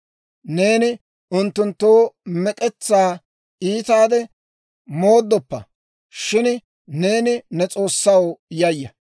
Neeni unttunttoo mek'etsaa iitaade mooddoppa; shin neeni ne S'oossaw yayya.